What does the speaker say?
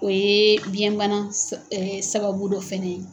O ye biɲɛ bana sab ɛ sababu dɔ fɛnɛ ye.